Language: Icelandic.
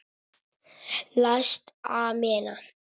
Læst amena.